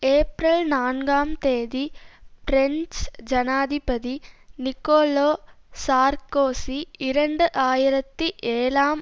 April நான்காம் தேதி French ஜனாதிபதி நிக்கோலோ சார்க்கோசி இரண்டு ஆயிரத்தி ஏழாம்